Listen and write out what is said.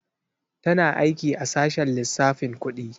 Tana aiki a sashen lissafin kudi.